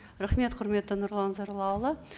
рахмет құрметті нұрлан зайроллаұлы